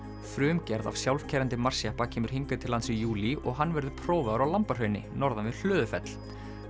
frumgerð af sjálfkeyrandi Mars jeppa kemur hingað til lands í júlí og hann verður prófaður á norðan við Hlöðufell